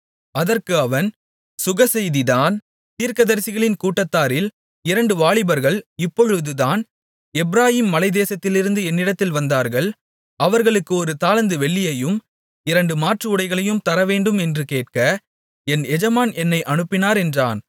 அதற்கு அவன் சுகசெய்திதான் தீர்க்கதரிசிகளின் கூட்டத்தாரில் இரண்டு வாலிபர்கள் இப்பொழுதுதான் எப்பிராயீம் மலைத்தேசத்திலிருந்து என்னிடத்தில் வந்தார்கள் அவர்களுக்கு ஒரு தாலந்து வெள்ளியையும் இரண்டு மாற்றுஉடைகளையும் தரவேண்டும் என்று கேட்க என் எஜமான் என்னை அனுப்பினார் என்றான்